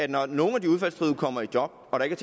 når nogle af de udfaldstruede kommer i job og der ikke